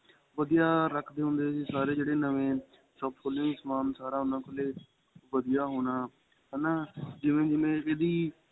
ਵਧੀਆ ਰੱਖਦੇ ਹੁੰਦੇ ਸੀ ਸਾਰੇ ਜਿਹੜੇ ਨਵੇਂ ਸਭ ਕੋਲੋਂ ਸਮਾਨ ਸਾਰਾ ਉਹਨਾ ਕੋਲੋਂ ਵਧੀਆ ਹੋਣਾ ਹੈਨਾ ਜਿਵੇਂ ਹੁਣ ਇਹਦੀ